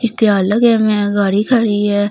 इसतीयार लगे हुए हैं गाड़ी खड़े हुई हैं लोग अपने--